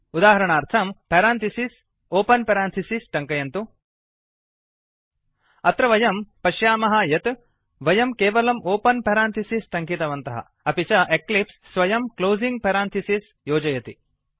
उदाहरणार्थं parenthesis open parenthesis टङ्कयन्तु अत्र वयं पश्यामः यत् वयं केवलं ओपन् पेरांथिसिस् टङ्कियवन्तः अपि च एक्लिप्स् स्वयं क्लोसिंग् पेरांथिसिस् योजयति